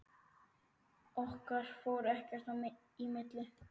Okkar fór ekkert í milli.